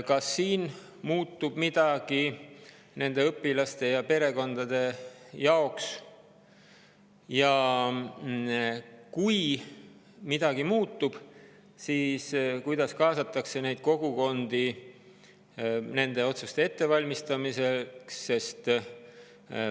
Kas nende õpilaste ja perekondade jaoks muutub midagi ja kui muutub, siis kuidas kaasatakse neid kogukondi otsuste ettevalmistamisse?